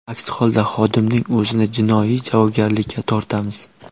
Aks holda xodimning o‘zini jinoiy javobgarlikka tortamiz.